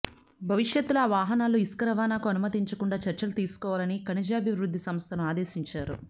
భవిష్యత్తులో ఆ వాహనాల్లో ఇసుక రవాణా కు అనుమతించకుండా చర్యలు తీసుకోవాలని ఖనిజాభివృద్ధి సంస్థను ఆదేశించారు